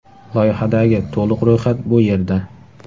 Loyihadagi to‘liq ro‘yxat bu yerda .